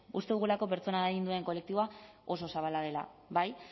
uste dugulako pertsona adinduen kolektiboa oso zabala dela bai